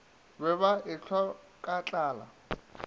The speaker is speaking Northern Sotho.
be ba ehlwa ka tlala